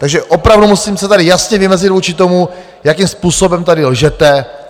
Takže opravdu musím se tady jasně vymezit vůči tomu, jakým způsobem tady lžete.